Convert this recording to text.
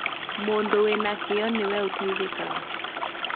Mũndũ wĩna kĩo nĩwe ũteithĩkaga